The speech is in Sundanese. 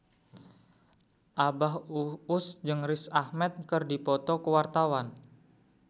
Abah Us Us jeung Riz Ahmed keur dipoto ku wartawan